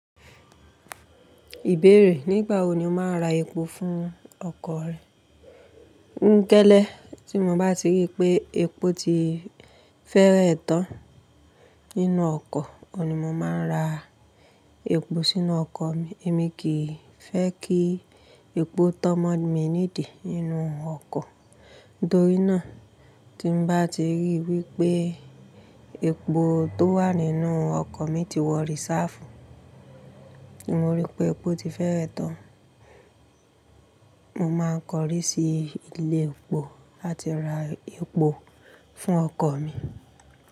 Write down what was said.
Ìbéèrè, nígbà wo ni o máa ra epo fún ọkọ̀ rẹ? Ǹkélé, tí mo bá ti rí pé epo ti fẹ́rẹ tán nínú ọkọ̀, ọ̀ní mo máa ra epo sínú ọkọ̀ mi. Èmi kì í fẹ́ kí epo tọ́mọ̀ mí ní dì nínú ọkọ̀. Nítorí náà, tí mo bá ti rí wí pé epo tó wà nínú ọkọ̀ mi ti wọrí sáàfù, mo rí pé epo ti fẹ́rẹ tán, mo máa kọrí sí ilé epo láti ra epo fún ọkọ̀ mi.